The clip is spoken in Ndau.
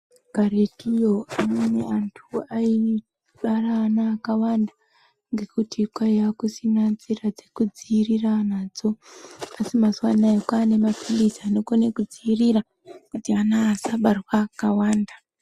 Karwtuyo amweni antu ayi bara ana akawanda ngekutu kwaiya kusina nzira dzekudziirira nadzo asi mazuwa anaya kwaane mapulizi anokone kudziirira kuti ana asabarwe akawanda .